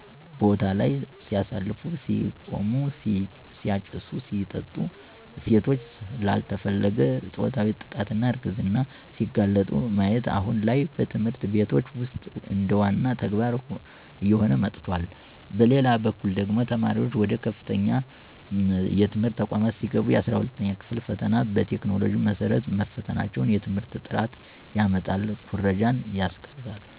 ቦታለይ ሲያሳልፉ(ሲቅሙ፣ ሲያጨሱ፣ ሲጠጡ ሴቶች ላልተፈለገ ፆታዊ ጥቃትና እርግዝና ሲጋለጡ)ማየት አሁን ላይ በትምህርት ቤቶች ውስጥ እንደዋና ተግባር እየሆነ መጥቷል። በሌላበኩል ደግሞ ተማሪዋች ወደ ከፍተኛ የትምህርት ተቋማት ሲገቡ 12ኛ ክፍል ፈተና በቴክኖሎጂው መሰረት መፈተናቸው የትምህርት ጥራትን ያመጣል ኩረጃን ያስቀራል።